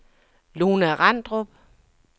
Lona Randrup